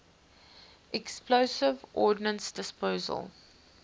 explosive ordnance disposal